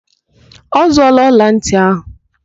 Ọ zụọọla ọlantị ahụ?